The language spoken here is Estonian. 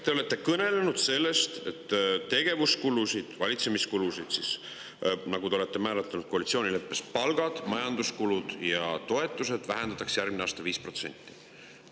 Te olete kõnelenud sellest, et tegevuskulusid – valitsemiskulusid siis, nagu te olete määratlenud koalitsioonileppes, palku, majanduskulusid ja toetusi – vähendatakse järgmine aasta 5%.